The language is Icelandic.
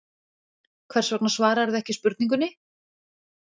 Hvers vegna svararðu ekki spurningunni?